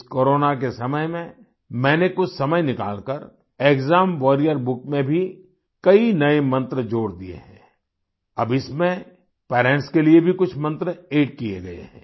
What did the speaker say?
इस कोरोना के समय में मैंने कुछ समय निकालकर एक्साम वारियर बुक में भी कई नए मंत्र जोड़ दिए हैं अब इसमें पेरेंट्स के लिए भी कुछ मंत्र अद्द किये गए हैं